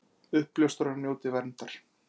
Uppljóstrarar njóti verndar